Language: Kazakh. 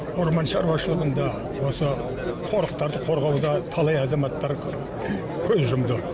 орман шаруашылығында осы қорықтарды қорғауда талай азаматтар көз жұмды